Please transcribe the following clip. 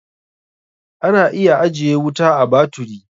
Ana iya ajiye wuta a baturi.